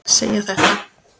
segir þetta